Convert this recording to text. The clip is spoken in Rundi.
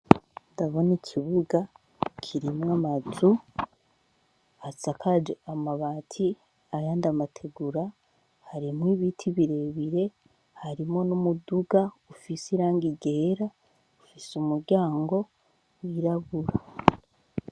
Ndabona ikibuga kirimwo amaju atsakaje amabati aya ndamategura harimo ibiti birebire harimo n'umuduga ufise iranga igera ufise umuryango wirabura.